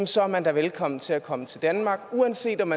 så er man da velkommen til at komme til danmark uanset om